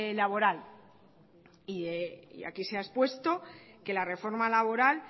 laboral y aquí se ha expuesto que la reforma laboral